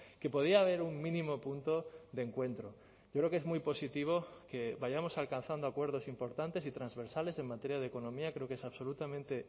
que podía haber un mínimo punto de encuentro yo creo que es muy positivo que vayamos alcanzando acuerdos importantes y transversales en materia de economía creo que es absolutamente